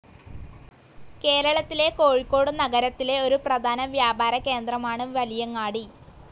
കേരളത്തിലെ കോഴിക്കോട് നഗരത്തിലെ ഒരു പ്രധാന വ്യാപര കേന്ദ്രമാണ് വലിയങ്ങാടി.